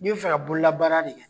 N'i be fɛ ka bololabaara de kɛ.